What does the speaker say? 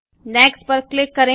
next पर click करें